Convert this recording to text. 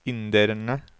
inderne